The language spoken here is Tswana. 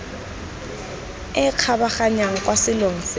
e kgabaganyang kwa selong se